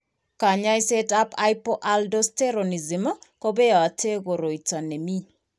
Kanyoisetab hypoaldosteronism kobeote koroito nemii.